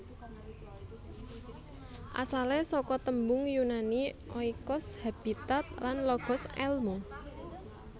Asalé saka tembung Yunani oikos habitat lan logos èlmu